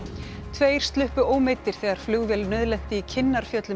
tveir sluppu ómeiddir þegar flugvél nauðlenti í